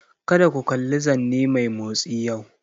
Kada ku kalli zanne mai motsi yau!